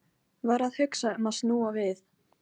Var að hugsa um að snúa við.